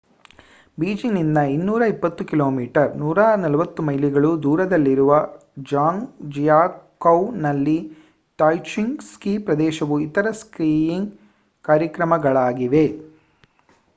ಬೀಜಿಂಗ್‌ನಿಂದ 220 ಕಿ.ಮೀ 140 ಮೈಲಿಗಳು ದೂರದಲ್ಲಿರುವ ಝಾಂಗ್‌ಜಿಯಾಕೌನಲ್ಲಿ ತಾಯ್ಜಿಚೆಂಗ್ ಸ್ಕೀ ಪ್ರದೇಶವು ಇತರ ಸ್ಕೀಯಿಂಗ್‌ ಕಾರ್ಯಕ್ರಮಗಳಾಗಿವೆ